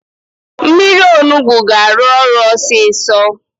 Mmiri Onugbu ga-arụ ọrụ ọsịsọ